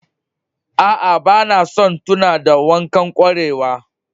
Aa, bana son tuna da wancan kwarewar.